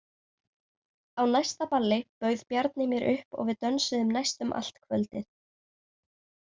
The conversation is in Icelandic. Á næsta balli bauð Bjarni mér upp og við dönsuðum næstum allt kvöldið.